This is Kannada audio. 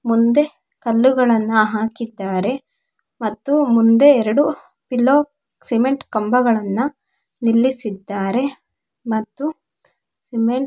ಮುಂದೆ ಕಲ್ಲುಗಳನ್ನು ಹಾಕಿದ್ದಾರೆ ಮತ್ತು ಮುಂದೆ ಎರಡು ಪಿಲೋ ಸಿಮೆಂಟ್ ಕಂಬಗಳನ್ನು ನಿಲ್ಲಿಸಿದ್ದಾರೆ ಮತ್ತು--